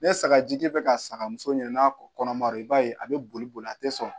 Ne saga ji tɛ ka saga muso ɲini na kɔnɔmara i b'a ye a be boli boli a te sɔn